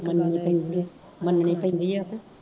ਮੰਨਣੀ ਪੈਂਦੀ ਆਹੋ